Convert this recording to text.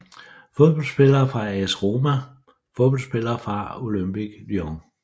Fodboldspillere fra AS Roma Fodboldspillere fra Olympique Lyon